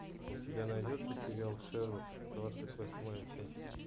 у тебя найдется сериал шерлок двадцать восьмая часть